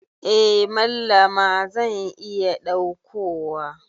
Eh Mallama zan iya daukowa.